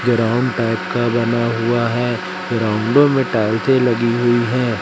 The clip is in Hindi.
ग्राउंड टाइप का बना हुआ है ग्राउंडओ में टाइल्सें लगी हुई है।